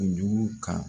O jugu kan